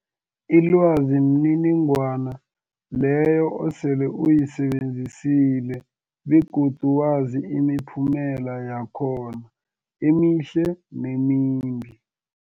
Ilwazi mniningwana leyo osele uyisebenzisile begodu wazi imiphumela yakhona emihle nemimbi.